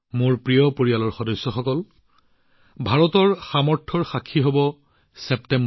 মোৰ পৰিয়ালৰ সদস্যসকল ছেপ্টেম্বৰ মাহটো ভাৰতৰ শক্তিৰ সাক্ষী হবলৈ গৈ আছে